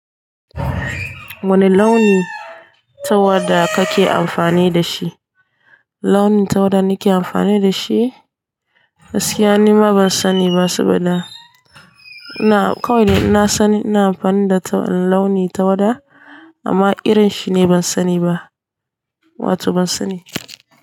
Wani launi tawada kake amfani da shi? Launin tawada nake amfani da shi? Gaskiya nima ban sani ba saboda ina kawai dai inna san ina amfani da launi tawada amma irin shine ban sani ba. Wato ban sani.